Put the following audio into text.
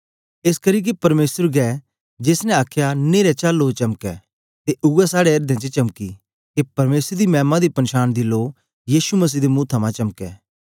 एसकरी के परमेसर गै जेस ने आखया न्हेरे चा लो चमके ते उवै साड़े एर्दें च चमंकी के परमेसर दी मैमा दी पनछान दी लो यीशु मसीह दे मुंहे थमां चमके